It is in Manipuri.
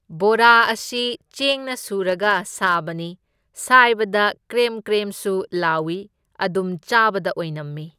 ꯕꯣꯔꯥ ꯑꯁꯤ ꯆꯦꯡꯅ ꯁꯨꯔꯒ ꯁꯥꯕꯅꯤ, ꯁꯥꯢꯕꯗ ꯀ꯭ꯔꯦꯝ ꯀ꯭ꯔꯦꯝꯁ ꯂꯥꯎꯢ, ꯑꯗꯨꯝ ꯆꯥꯕꯗ ꯑꯣꯏꯅꯝꯃꯤ꯫